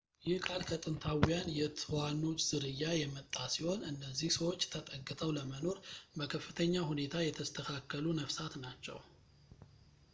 ይህ ቃል ከጥንታውያን የትኋኖች ዝርያ የመጣ ሲሆን እነዚህ ሰዎችን ተጠግተው ለመኖር በከፍተኛ ሁኔታ የተስተካከሉ ነፍሳት ናቸው